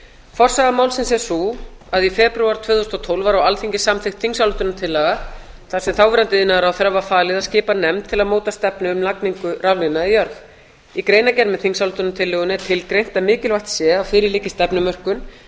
forsaga málsins er sú að í febrúar tvö þúsund og tólf var á alþingi samþykkt þingsályktunartillaga þar sem þáverandi iðnaðarráðherra var falið að skipa nefnd til að móta stefnu um lagningu raflína í jörð í greinargerð með þingsályktunartillögunni er tilgreint að mikilvægt sé að fyrir liggi stefnumörkun